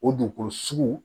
O dugukolo sugu